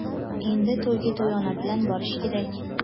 endi "To‘yga to‘yona bilan borish kerak!"